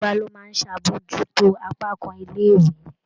Gíwá ló máa ń ṣàbojútó apá kan ilé-ìwé.